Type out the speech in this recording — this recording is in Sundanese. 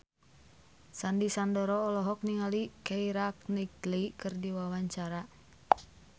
Sandy Sandoro olohok ningali Keira Knightley keur diwawancara